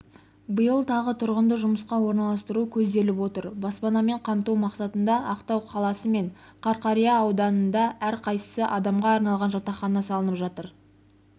биыл тағы тұрғынды жұмысқа орналастыру көзделіп отыр баспанамен қамту мақсатында ақтау қаласы мен қарақия ауданында әрқайсысы адамға арналған жатақхана салынып жатыр